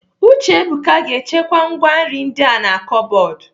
Uchebuka ga-echekwa ngwá nri ndi a na kọbọdụ.